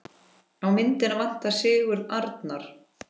Á myndina vantar Sigurð Arnar.